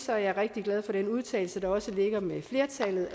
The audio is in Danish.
jeg er rigtig glad for den udtalelse der også ligger med flertallet